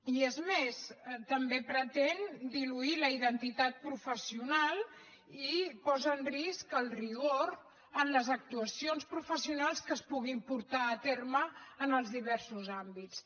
i és més també pretén diluir la identitat professional i posa en risc el rigor en les actuacions professionals que es puguin portar a terme en els diversos àmbits